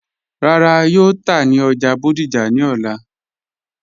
Rárá, yóò tà ní ọ́já Bódìjà ni ọ̀lá.